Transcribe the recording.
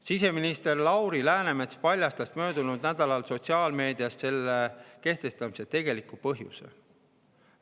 Siseminister Lauri Läänemets paljastas möödunud nädalal sotsiaalmeedias selle kehtestamise tegeliku põhjuse.